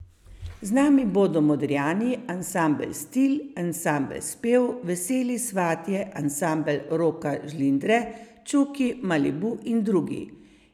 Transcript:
Z nami bodo Modrijani, Ansambel Stil, Ansambel Spev, Veseli svatje, Ansambel Roka Žlindre, Čuki, Malibu in drugi.